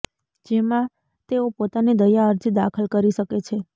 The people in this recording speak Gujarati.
જેમાં તેઓ પોતાની દયા અરજી દાખલ કરી શકે છે